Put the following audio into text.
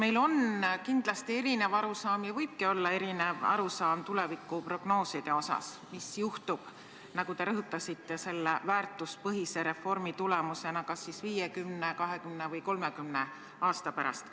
Meil on kindlasti erinev arusaam – ja võibki olla erinev arusaam – tulevikuprognoosidest, sellest, mis juhtub, nagu te rõhutasite, selle väärtuspõhise reformi tulemusena 50, 20 või 30 aasta pärast.